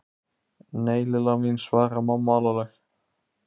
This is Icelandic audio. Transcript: Nei, Lilla mín svaraði mamma alvarleg.